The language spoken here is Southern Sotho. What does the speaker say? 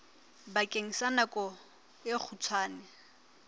bakeng sa nako e kgutshwane